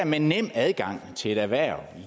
med nem adgang til et erhverv